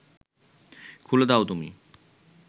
খুলে দাও তুমি